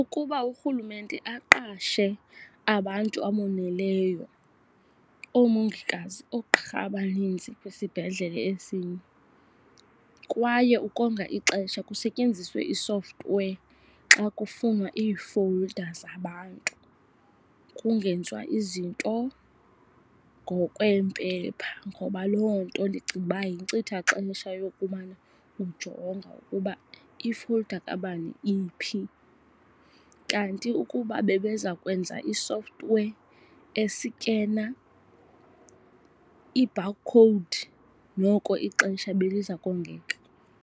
Ukuba uRhulumente aqashe abantu aboneleyo, oomongikazi, oogqirha abaninzi kwisibhedlele esinye. Kwaye ukonga ixesha kusetyenziswe i-software xa kufunwa ii-folder zabantu kungenzwa izinto ngokwempeepha. Ngoba loo nto ndicinga uba yinkcitha xesha yokumana ujonga ukuba i-folder kabani iphi. Kanti ukuba bebezakwenza i-software esikena i-bar code noko ixesha beliza kongeka.